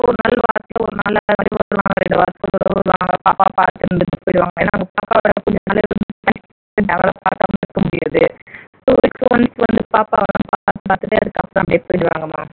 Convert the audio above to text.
பாப்பாவ பாத்து இருந்துட்டு பொய்ருவாங்க ஏன்னா பாக்காம இருக்க முடியாது so இப்போ வந்து பாப்பாவலாம் பாத்துட்டு அதுக்கப்பறம் அப்டியே போயிடுவாங்கம்மா